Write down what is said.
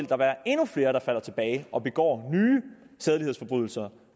der være endnu flere der falder tilbage og begår nye sædelighedsforbrydelser